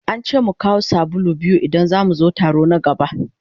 An ce mu kawo sabulu biyu idan za mu zo taro na gaba.